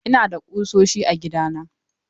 Ina da kusoshi a gidana.